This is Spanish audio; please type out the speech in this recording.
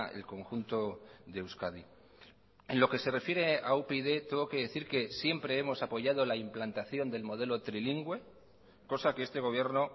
el conjunto de euskadi en lo que se refiere a upyd tengo que decir que siempre hemos apoyado la implantación del modelo trilingüe cosa que este gobierno